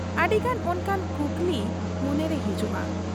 ᱟᱹᱰᱤᱜᱟᱱ ᱚᱱᱠᱟᱱ ᱠᱩᱠᱞᱤ ᱢᱚᱱᱮᱨᱮ ᱦᱤᱡᱩᱜ ᱟ ᱾